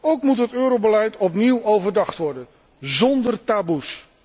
Ook moet het eurobeleid opnieuw overdacht worden, zonder taboes.